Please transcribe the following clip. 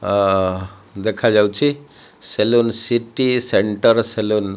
ଅ ଦେଖାଯାଉଛି salon city centre salon --